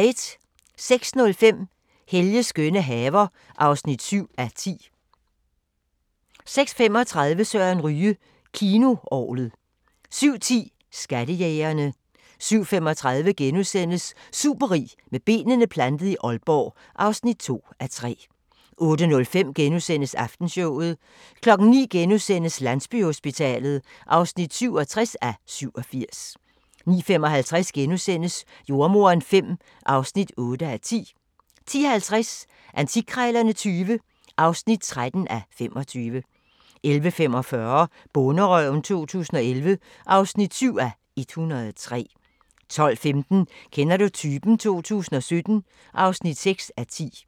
06:05: Helges skønne haver (7:10) 06:35: Søren Ryge: Kinoorglet 07:10: Skattejægerne 07:35: Superrig med benene plantet i Aalborg (2:3)* 08:05: Aftenshowet * 09:00: Landsbyhospitalet (67:87)* 09:55: Jordemoderen V (8:10)* 10:50: Antikkrejlerne XX (13:25) 11:45: Bonderøven 2011 (7:103) 12:15: Kender du typen? 2017 (6:10)